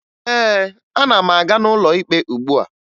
Ee, ana m aga n'ụlọ ikpe ugbua